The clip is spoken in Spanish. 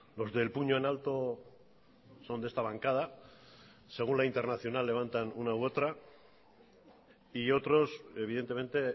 los del puño en alto son de esta bancada según la internacional levantan una u otra y otros evidentemente